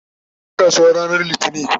taje kasuwa ranar littani